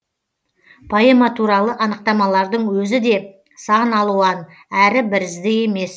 поэма туралы анықтамалардың өзі де сан алуан әрі бірізді емес